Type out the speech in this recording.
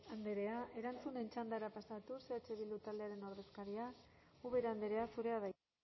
andrea erantzunen txandara pasatuz eh bildu taldearen ordezkaria ubera andrea zurea da hitza